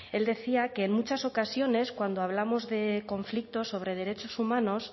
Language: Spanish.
él decía que en muchas ocasiones cuando hablamos de conflicto sobre derechos humanos